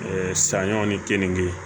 sanɲɔ ni keninke